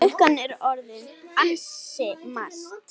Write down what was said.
Klukkan er orðin ansi margt.